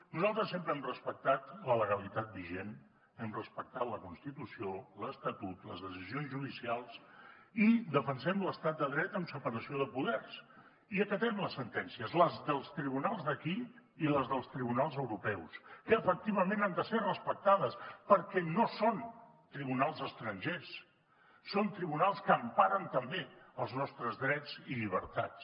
nosaltres sempre hem respectat la legalitat vigent hem respectat la constitució l’estatut les decisions judicials i defensem l’estat de dret amb separació de poders i acatem les sentències les dels tribunals d’aquí i les dels tribunals europeus que efectivament han de ser respectades perquè no són tribunals estrangers són tribunals que emparen també els nostres drets i llibertats